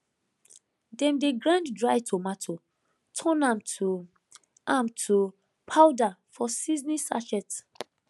dem dey grind dry tomato turn am to am to powder for seasoning sachet